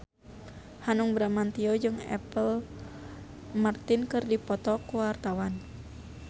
Hanung Bramantyo jeung Apple Martin keur dipoto ku wartawan